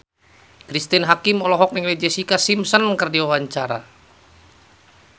Cristine Hakim olohok ningali Jessica Simpson keur diwawancara